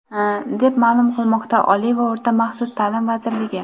deb ma’lum qilmoqda Oliy va o‘rta maxsus ta’lim vazirligi.